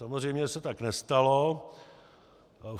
Samozřejmě se tak nestalo.